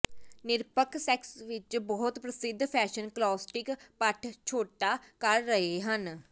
ਨਿਰਪੱਖ ਸੈਕਸ ਵਿਚ ਬਹੁਤ ਪ੍ਰਸਿੱਧ ਫੈਸ਼ਨ ਕਲਾਸਿਕ ਪਟ ਛੋਟਾ ਕਰ ਰਹੇ ਹਨ